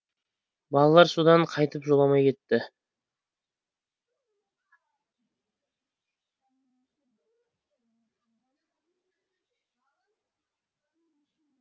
балалар содан қайтып жоламай кетті